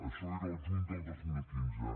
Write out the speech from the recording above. això era el juny del dos mil quinze